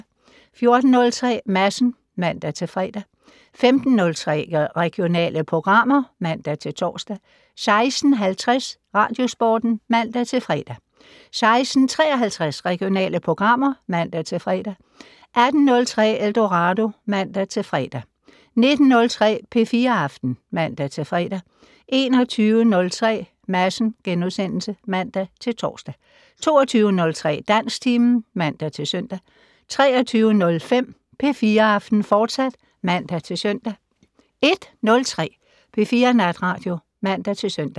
14:03: Madsen (man-fre) 15:03: Regionale programmer (man-tor) 16:50: Radiosporten (man-fre) 16:53: Regionale programmer (man-fre) 18:03: Eldorado (man-fre) 19:03: P4 Aften (man-fre) 21:03: Madsen *(man-tor) 22:03: Dansktimen (man-søn) 23:05: P4 Aften, fortsat (man-søn) 01:03: P4 Natradio (man-søn)